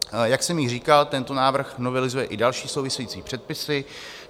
Jak jsem již říkal, tento návrh novelizuje i další související předpisy.